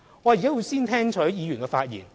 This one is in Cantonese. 我現在先聽取議員的發言。